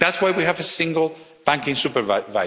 That's why we have a single banking supervisor.